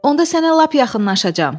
Onda sənə lap yaxınlaşacağam.